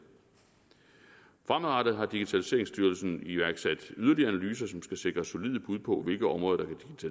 fremadrettet har digitaliseringstyrelsen iværksat yderligere analyser som skal sikre solide bud på hvilke områder der